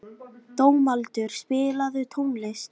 Dómaldur, spilaðu tónlist.